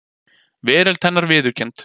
Veröld hennar viðurkennd.